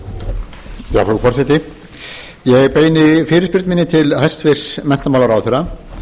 frú forseti ég beini fyrirspurn minni til hæstvirts menntamálaráðherra